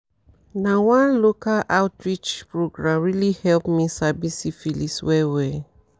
na one local outreach program really help me sabi syphilis well well